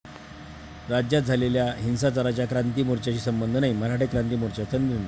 राज्यात झालेल्या हिंसाचाराचा क्रांती मोर्च्याशी संबंध नाही, मराठा क्रांती मोर्चाचा निर्णय